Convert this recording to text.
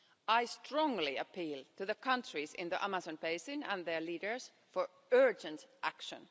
I strongly appeal to the countries in the Amazon Basin and their leaders for urgent action.